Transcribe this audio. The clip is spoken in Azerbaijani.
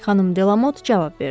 Xanım Delamot cavab verdi.